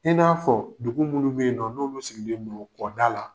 I n'a fɔ dugu munnu be yen nɔ, n'olu sigilen don kɔ da la.